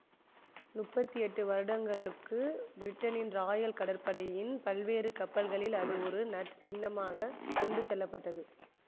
முப்பத்தி எட்டு வருடங்களுக்கு பிரிட்டனின் ராயல் கப்பற்படையின் பல்வேறு கப்பல்களில் அது ஒரு நற்சின்னமாகக் கொண்டு செல்லப்பட்டது